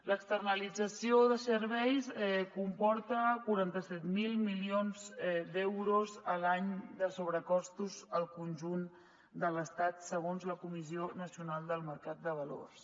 l’externalització de serveis comporta quaranta set mil milions d’euros a l’any de sobrecostos al conjunt de l’estat segons la comissió nacional del mercat de valors